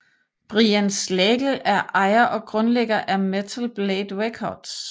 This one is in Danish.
Brian Slagel er ejer og grundlægger af Metal Blade Records